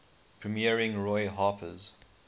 premiering roy harper's